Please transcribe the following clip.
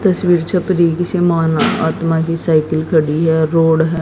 तस्वीर छप री इसी माना साइकिल खड़ी है रोड है।